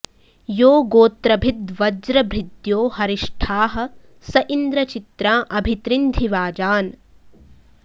यो गो॑त्र॒भिद्व॑ज्र॒भृद्यो ह॑रि॒ष्ठाः स इ॑न्द्र चि॒त्राँ अ॒भि तृ॑न्धि॒ वाजा॑न्